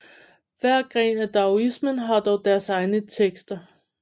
Hver gren af daoismen har dog deres egne tekster